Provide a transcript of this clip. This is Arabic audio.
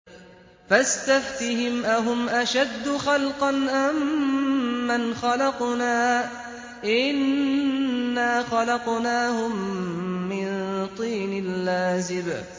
فَاسْتَفْتِهِمْ أَهُمْ أَشَدُّ خَلْقًا أَم مَّنْ خَلَقْنَا ۚ إِنَّا خَلَقْنَاهُم مِّن طِينٍ لَّازِبٍ